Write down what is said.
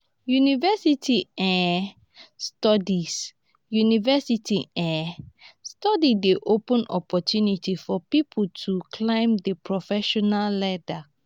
university um studies university um studies dey open opportunity for pipo to climb di professional ladder